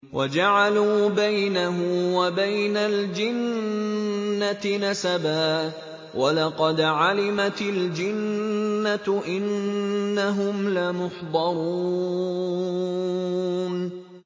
وَجَعَلُوا بَيْنَهُ وَبَيْنَ الْجِنَّةِ نَسَبًا ۚ وَلَقَدْ عَلِمَتِ الْجِنَّةُ إِنَّهُمْ لَمُحْضَرُونَ